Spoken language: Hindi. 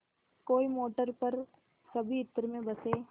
कोई मोटर पर सभी इत्र में बसे